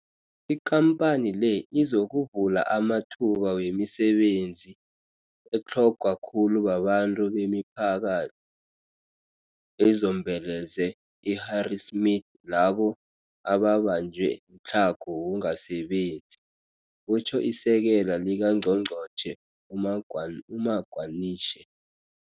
IKampani le izokuvula amathuba wemisebenzi etlhogwa khulu babantu bemiphaka thini ezombeleze i-Harrismith labo ababanjwe mtlhago wokungasebenzi, kutjho iSekela likaNgqongqotjhe uMagwanishe.